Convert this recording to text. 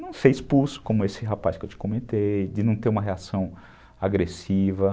Não ser expulso, como esse rapaz que eu te comentei, de não ter uma reação agressiva.